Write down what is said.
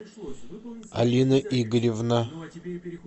алина игоревна